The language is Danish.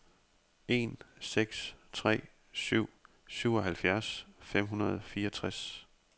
en seks tre syv syvoghalvfjerds fem hundrede og fireogtres